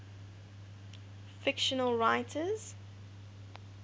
fictional writers